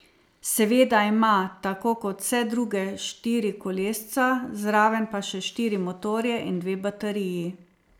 Seveda ima, tako kot vse druge, štiri kolesca, zraven pa še štiri motorje in dve bateriji.